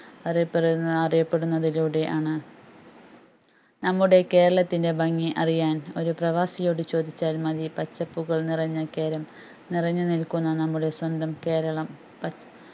അറിയപ്പെടുന്ന അറിയപെടുന്നതിലൂടെ ആണ് നമ്മുടെ കേരളത്തിന്റെ ഭംഗി അറിയാൻ ഒരു പ്രവാസിയോട് ചോദിച്ചാൽ മതി പച്ചപ്പുകൾ നിറഞ്ഞ കേരം നിറഞ്ഞു നിൽക്കുന്ന നമ്മുടെ സ്വന്തം കേരളം